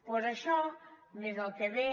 doncs això més el que ve